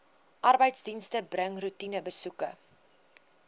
arbeidsdienste bring roetinebesoeke